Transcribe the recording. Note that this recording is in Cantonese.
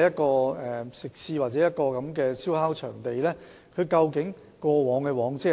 涉及的食肆或燒烤場地的往績為何。